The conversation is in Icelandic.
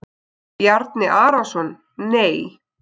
Bjarni Arason Nei.